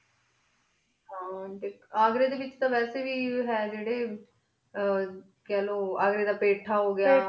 ਹਨ ਅਘ੍ਰੀ ਡੀ ਵੇਚ ਵਾਸੀ ਵੇ ਹੀ ਜੀਰੀ ਆ ਊਆਘ੍ਰੀ ਦਾ ਪੀਠਾ ਹੁਗ੍ਯ ਤਾਜ ਮਹਿਲ ਖਲੋ ਹਨ ਜੀ ਬੁਹਤ famious